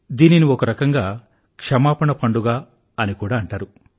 దీనిని ఒక రకంగా క్షమాపణ పండుగ అని కూడా అంటారు